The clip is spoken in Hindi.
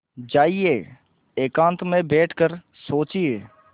जाइए एकांत में बैठ कर सोचिए